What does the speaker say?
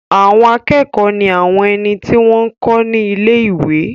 Àwọn akẹ́kọ̀ọ́ ní àwọn ẹni tí wọ́n n kọ́ ní ilé-ìwé